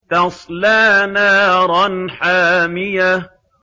تَصْلَىٰ نَارًا حَامِيَةً